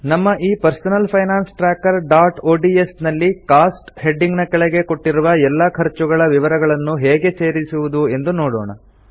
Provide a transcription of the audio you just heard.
ನಮ್ಮ ಈ personal finance trackerಒಡಿಎಸ್ ನಲ್ಲಿ ಕೋಸ್ಟ್ ಹೆಡಿಂಗ್ ನ ಕೆಳಗೆ ಕೊಟ್ಟಿರುವ ಎಲ್ಲಾ ಖರ್ಚುಗಳ ವಿವರಗಳನ್ನು ಹೇಗೆ ಸೇರಿಸುವುದು ಎಂದು ನೋಡೋಣ